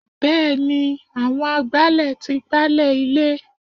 Bẹẹni àwọn agbálẹ̀ tí gbálẹ̀ ilé.